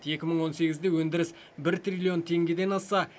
екі мың он сегізде өндіріс бір триллион теңгеден асса